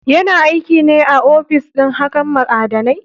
Yana aikine a ofis ɗin hakan ma'adanai.